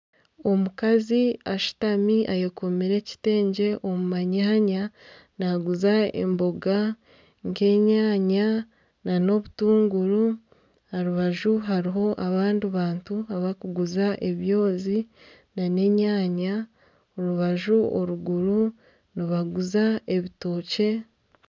Omukazi ashutami ayekomire ekitengye omu manyanya, naguza emboga nka enyaanya nana obutunguru. Aha rubaju hariho abandi bantu abakuguza ebyozi nana enyaanya. Orubaju orw'eruguru nibaguza ebitookye.